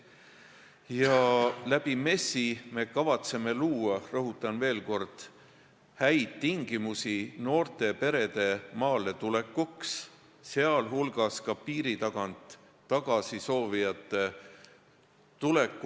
Me kavatseme MES-i kaudu luua – rõhutan veel kord – häid tingimusi noorte perede maale tulekuks, sh peame silmas ka neid peresid, kes piiri tagant soovivad tagasi tulla.